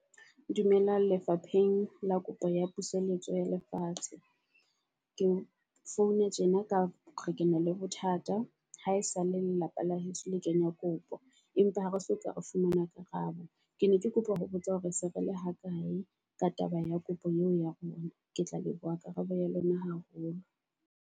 Dumelang lefapheng la kopo ya puseletso ya lefatshe. Ke founa tjena ka hoba ke na le bothata ha e sa le lelapa la heso le kebya kopo. Empa ha re soka re fumana karabo. Ke ne ke kopa ho botsa hore se re le ho kae ka taba ya kopo eo ya rona. Ke tla leboha karabo ya lona haholo.